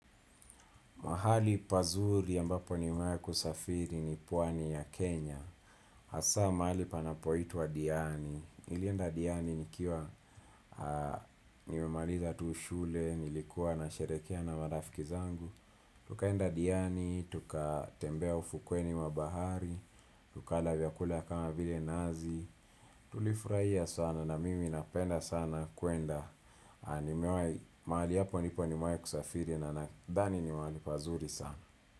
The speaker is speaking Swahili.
Mahali pazuri ya ambapo nimewahi kusafiri ni pwani ya Kenya. Hasa mahali panapoitwa Diani. Nilienda Diani nikiwa niwemaliza tu shule, nilikuwa nasherehekea na marafiki zangu. Tukaenda Diani, tukatembea ufukoni wa bahari. Tukala vyakula kama vile nazi. Tulifurahia sana na mimi napenda sana kuenda. Mahali hapo nipo nimewahi kusafiri na nadhani ni mahali pazuri sana.